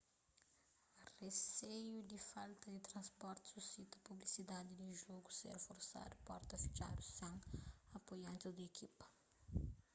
riseiu di falta di transporti susita pusibilidadi di jogu ser forsadu porta fitxadu sen apoiantis di ekipa